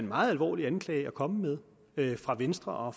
meget alvorlig anklage at komme med af venstre og